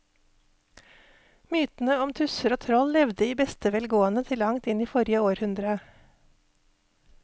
Mytene om tusser og troll levde i beste velgående til langt inn i forrige århundre.